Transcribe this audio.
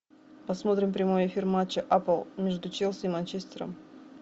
посмотрим прямой эфир матча апл между челси и манчестером